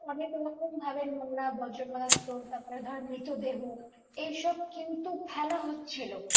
অনেকরকম ভাবে নোংরা বর্জপদার্থ তারপরে ধরো মৃত দেহ এইসব কিন্তু ফেলা হচ্ছিলো